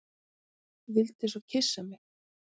Vildi svo kyssa mig.